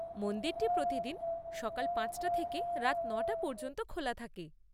মন্দিরটি প্রতিদিন সকাল পাঁচটা থেকে রাত নটা পর্যন্ত খোলা থাকে।